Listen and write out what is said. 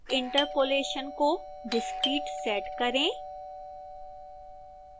interpolation को discrete set करें